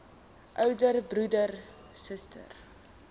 ouer broer suster